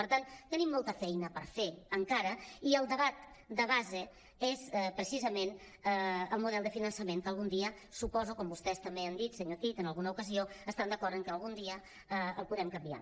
per tant tenim molta feina per fer encara i el debat de base és precisament el model de finançament que algun dia suposo com vostès també han dit senyor cid en alguna ocasió estan d’acord que algun dia el puguem canviar